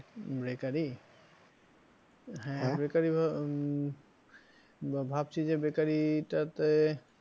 Bakery হ্যাঁ bakery উম ভাবছি যে bakery টা তে